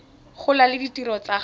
gola le ditirelo tsa go